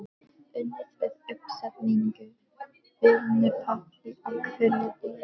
Unnið við uppsetningu vinnupalla á hverjum degi.